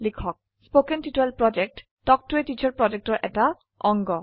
কথন শিক্ষণ প্ৰকল্প তাল্ক ত a টিচাৰ প্ৰকল্পৰ এটা অংগ